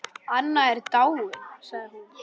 Anna er dáin sagði hún.